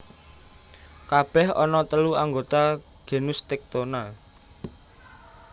Kabèh ana telu anggota genus Tectona